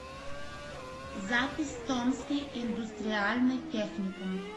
запись томский индустриальный техникум